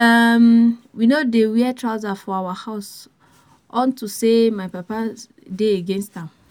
um We no dey wear trouser for our house unto say my papa dey against am